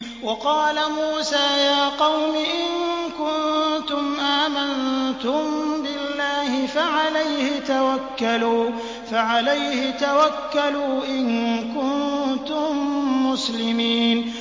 وَقَالَ مُوسَىٰ يَا قَوْمِ إِن كُنتُمْ آمَنتُم بِاللَّهِ فَعَلَيْهِ تَوَكَّلُوا إِن كُنتُم مُّسْلِمِينَ